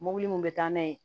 Mobili min bɛ taa n'a ye